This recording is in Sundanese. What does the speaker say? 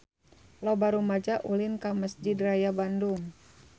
Loba rumaja ulin ka Mesjid Raya Bandung